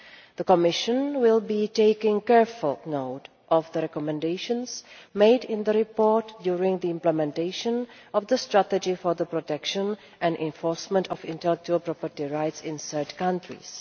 The Commission will be taking careful note of the recommendations made in the report during the implementation of the strategy for the protection and enforcement of intellectual property rights in third countries.